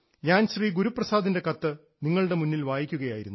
ഞാൻ ശ്രീ ഗുരുപ്രസാദിൻറെ കത്ത് നിങ്ങളുടെ മുന്നിൽ വായിക്കുകയായിരുന്നു